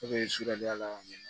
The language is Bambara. E be suturala